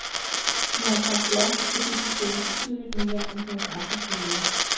De har sagt ja, fordi de tjener betydeligt mere end deres andre kolleger.